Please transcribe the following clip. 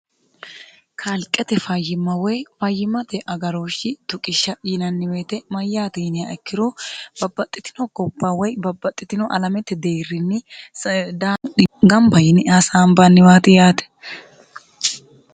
kaalqete fayyimma woy fayyimmate agarooshshi tuqishsha yinanni weete mayyaate yinniha ikkiro babbaxxitino gobba woy babbaxxitino alamete deerrinni gamba yini asaambanni waati yaate.